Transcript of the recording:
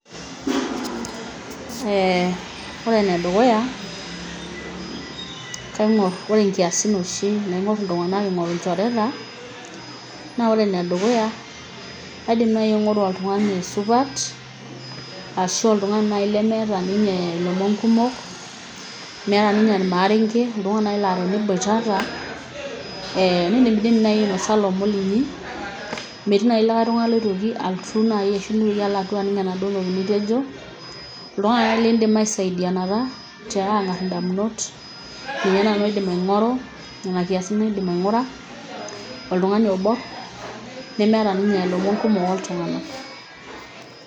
eeh ore enedukuya kaing'orr ore nkiasin oshi naing'orr iltung'anak ing'oru ilchoreta naa ore enedukuya kaidim naaji aingo'ru oltung'ani supat ashu oltung'ani laaji lemeeta ninye ilomon kumok meeta ninye irmaarenge oltung'ani naaji laa teniboitata eh, nindimidim naaji ainosa ilomon linyi metii naaji likae tung'ani oitoki alotu naaji ashu nitoki aloduoa aning enaduo toki nitejo oltung'ani ake lindim aisaidianata ang'arr indamunot ninye naaji nanu aidim aing'oru nena kiasin aidim aing'ura oltung'ani oborr nemeeta ninye ilomon kumok oltung'nak.